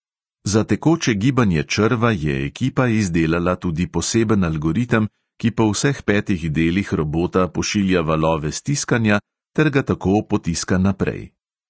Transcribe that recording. Za tekoče gibanje črva je ekipa izdelala tudi poseben algoritem, ki po vseh petih delih robota pošilja valove stiskanja ter ga tako potiska naprej.